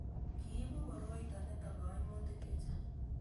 kiibu koroito nito kaimutik che chang'